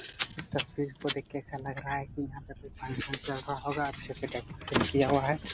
इस तस्वीर को देख के ऐसा लग रहा है कि यहाॅं पर कोई फंक्शन चल रहा होगा अच्छा से डेकोरेशन किया हुआ है।